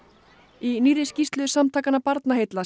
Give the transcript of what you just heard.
í nýrri skýrslu samtakanna Barnaheilla